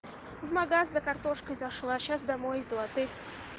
в магазин за картошкой зашла сейчас домой иду а ты